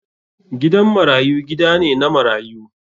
Gidan marayu gida ne na marayu.